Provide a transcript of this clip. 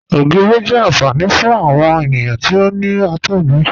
Ogírí jẹ́ ànfàní fún awọn ènìyàn tí ó ní àtọ̀gbẹ